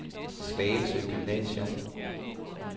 Slagelse Gymnasium